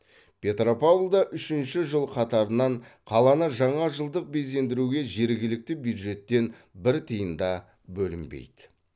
петропавлда үшінші жыл қатарынан қаланы жаңа жылдық безендіруге жергілікті бюджеттен бір тиын да бөлінбейді